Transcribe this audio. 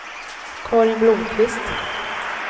Carin Blomqvist